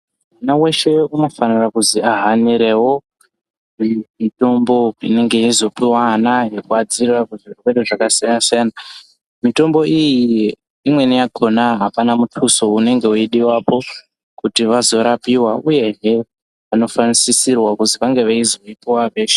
Mwana weshe unofanira kuzi ahanirewo mitombo inenge yeyizopiwa ana ana inovadzivirira kubva kuzvirwere zvakasiyana siyana mitombo iyi imweni yakona hapana muduso unenge weyizodiwepo kuti vazorapiwa uye hee vanofanirwa kusisirwa kuti kunge veizopiwa veshe.